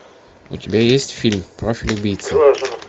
у тебя есть фильм профиль убийцы